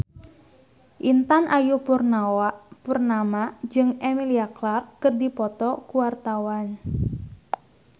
Intan Ayu Purnama jeung Emilia Clarke keur dipoto ku wartawan